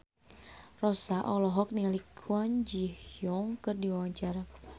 Rossa olohok ningali Kwon Ji Yong keur diwawancara